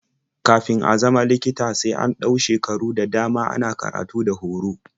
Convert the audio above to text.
Kafin a zama likita sai an ɗau shekaru da dama ana karatu da horo.